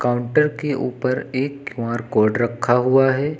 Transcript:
Counter के ऊपर एक क्यू_आर कोड रखा हुआ है।